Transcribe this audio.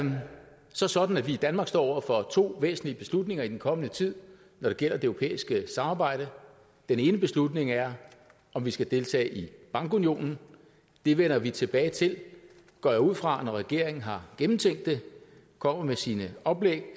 så sådan at vi i danmark står over for to væsentlige beslutninger i den kommende tid når det gælder det europæiske samarbejde den ene beslutning er om vi skal deltage i bankunionen det vender vi tilbage til går jeg ud fra når regeringen har gennemtænkt det kommer med sine oplæg